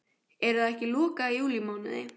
Er það ekki lokað í júlímánuði?